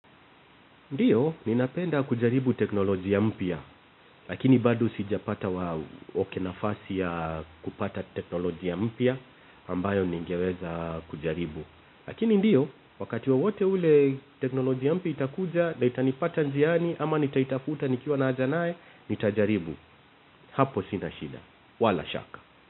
Ndiyo, ninapenda kujaribu teknolojia mpya, lakini bado sijapata wa okey nafasi ya kupata teknolojia mpya, ambayo ningeweza kujaribu. Lakini ndiyo, wakati wowote ule teknolojia mpya itakuja, na itanipata njiani, ama nitaitafuta nikiwa na aja naye, nitajaribu, hapo sina shida, wala shaka.